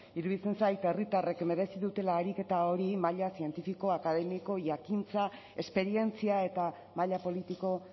iruditzen zait herritarrek merezi dutela ariketa hori maila zientifiko akademiko jakintza esperientzia eta maila politiko